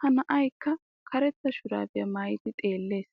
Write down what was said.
Ha na'aykka karetta shurabbiya maayiddi xeelees.